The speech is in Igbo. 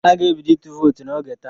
A ga-ebido ịtụ vootu n'oge taa.